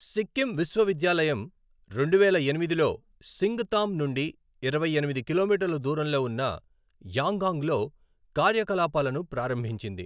సిక్కిం విశ్వవిద్యాలయం రెండువేల ఎనిమిదిలో సింగతామ్ నుండి ఇరవై ఎనిమిది కిలోమీటర్ల దూరంలో ఉన్న యాంగాంగ్లో కార్యకలాపాలను ప్రారంభించింది.